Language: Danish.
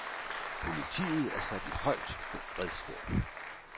Politiet er sat i højt beredskab.